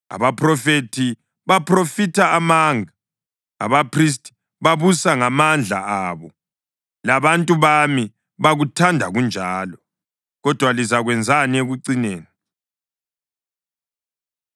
Abaphrofethi baphrofitha amanga, abaphristi babusa ngamandla abo, labantu bami bakuthanda kunjalo. Kodwa lizakwenzani ekucineni?”